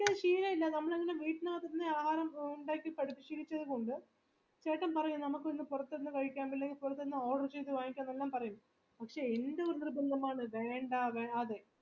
ശീലയില്ല നമ്മള് വീട്ടിനകത്തു തന്നെ ആഹാരം ഉണ്ടാക്കി പഠിച്ചുശീലിച്ചതുകൊണ്ട് ചേട്ടൻ പറയും നമുക്ക് ഇന്ന് പുറത്തുന്ന കഴിക്കാം അല്ലെങ്കി പുറത്തുന്ന order ചെയ്ത വാങ്ങിക്കാം ന്ന് എല്ലാം പറയും പക്ഷെ എന്റെ നിർബന്ധം ആണ് വേണ്ട വേണ്ട അതെ